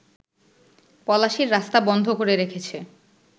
পলাশীর রাস্তা বন্ধ করে রেখেছে